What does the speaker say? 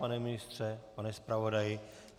Pane ministře, pane zpravodaji?